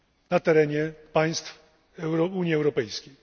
na terenie państw Unii Europejskiej.